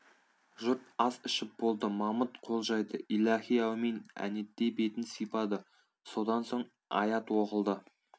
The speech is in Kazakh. жұрт ас ішіп болды мамыт қол жайды иләһи әумин әнетей бетін сыйпады содан соң аят оқылды